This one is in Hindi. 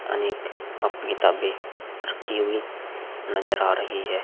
अनेक कापी किताबे रखी हुई नजर आ रही है।